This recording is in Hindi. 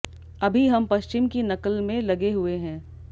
अभी हम पश्चिम की नकल में लगे हुए हैं